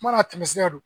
Mana tɛmɛ sira don